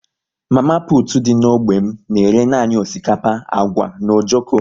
Mama putu dị n'ógbè m na-ere nanị osikapa, agwa na ojoko